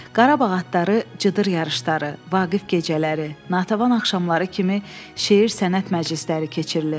Qarabağ atları, cıdır yarışları, Vaqif gecələri, Natəvan axşamları kimi şeir, sənət məclisləri keçirilir.